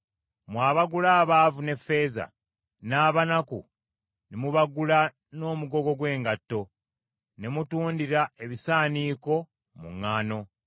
mmwe abagula abaavu n’effeeza n’abanaku ne mubagula n’omugogo gw’engatto, ne mutundira ebisaaniiko mu ŋŋaano.